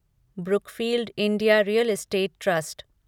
Brookfield India real estate trust